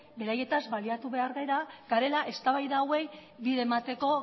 beraietaz baliatu behar garela eztabaida hauei bide emateko